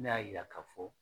Ne y'a jira k'a fɔ